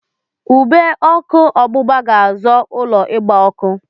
Ube ọkụ ọgbụgba ga-azọ ụlọ ịgba ọkụ.